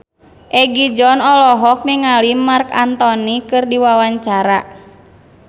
Egi John olohok ningali Marc Anthony keur diwawancara